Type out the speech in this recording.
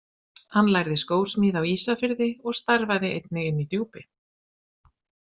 Hann lærði skósmíði á Ísafirði og starfaði einnig inni í Djúpi.